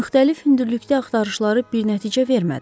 Müxtəlif hündürlükdə axtarışları bir nəticə vermədi.